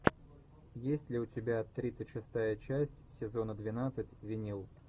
есть ли у тебя тридцать шестая часть сезона двенадцать винил